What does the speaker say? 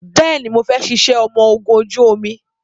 Bẹẹni, mo fẹ́ ṣiṣẹ́ ọmọ ogún ojú omi